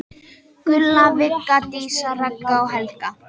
Gulla, Vigga, Dísa, Ragga og Helga.